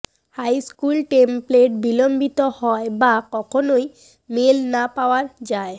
high school template বিলম্বিত হয় বা কখনোই মেল না পাওয়া যায়